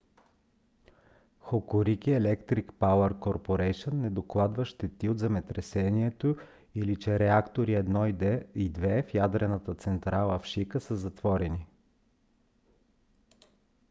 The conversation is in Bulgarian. hokuriku electric power co. не докладва щети от земетресението или че реактори 1 и 2 в ядрената централа в шика са затворени